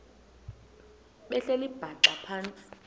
behleli bhaxa phantsi